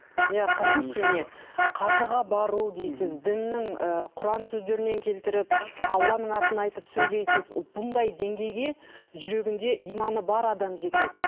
иә қараңызшы міне қажыға бару дейсіз діннің ыыы құран сөздерінен келтіріп алланың атын айтып сөйлейсіз бұндай деңгейге жүрегінде иманы бар адам жетеді